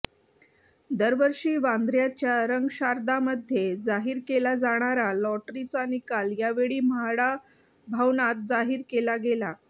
दरवर्षी वांद्रय़ाच्या रंगशारदामध्ये जाहीर केला जाणारा लॉटरीचा निकाल यावेळी म्हाडा भवनात जाहीर केला गेला